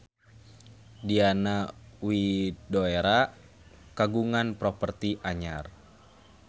Diana Widoera kagungan properti anyar